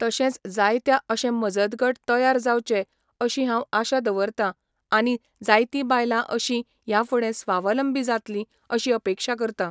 तशेंच जायत्या अशें मजत गट तयार जावचे अशी हांव आशा दवरतां आनी जायतीं बायलां अशीं ह्या फुडें स्वावलंबी जातलीं अशीं अपेक्षा करतां